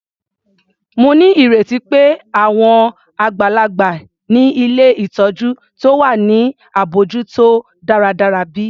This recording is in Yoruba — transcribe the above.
Mo nírètí pé àwọn àgbàlagbà ni ilé ìtọjú ti wà ní abójútó dáradára bi?